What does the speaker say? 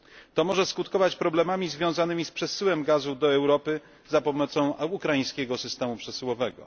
To może skutkować problemami związanymi z przesyłem gazu do Europy za pomocą ukraińskiego systemu przesyłowego.